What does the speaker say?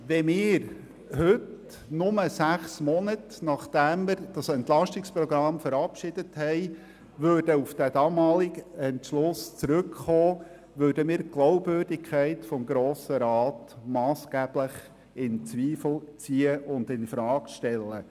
Wenn wir heute, nur sechs Monate, nachdem wir dieses Entlastungsprogramm verabschiedet haben, auf den damaligen Entscheid zurückkommen würden, würden wir die Glaubwürdigkeit des Grossen Rates massgeblich in Zweifel ziehen und infrage stellen.